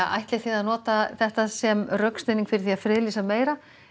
ætlið þið að nota þetta sem rökstuðning fyrir því að friðlýsa meira